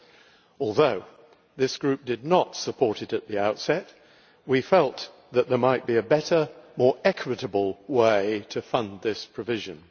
However, this Group did not support it at the outset we felt that there might be a better, more equitable way to fund this provision.